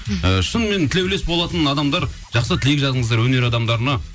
ы шынымен тілеулес болатын адамдар жақсы тілек жазыңыздар өнер адамдарына